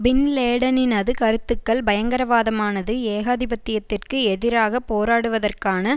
பின் லேடனினது கருத்துக்கள் பயங்கரவாதமானது ஏகாதிபத்தியத்திற்கு எதிராக போராடுவதற்கான